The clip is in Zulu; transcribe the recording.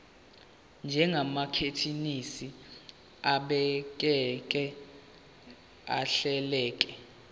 njengamathekisthi abhaleke ahleleka